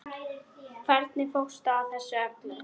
Hvernig fórstu að þessu öllu?